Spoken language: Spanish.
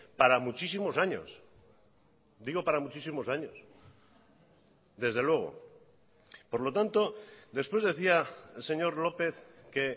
para muchísimos años digo para muchísimos años desde luego por lo tanto después decía el señor lópez que